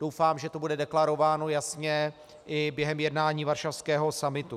Doufám, že to bude deklarováno jasně i během jednání varšavského summitu.